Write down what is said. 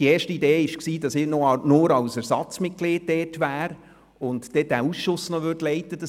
Die erste Idee war, dass ich nur als Ersatzmitglied dabei wäre und den Ausschuss so leiten würde.